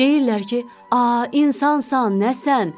Deyirlər ki, a insansan, nəsən?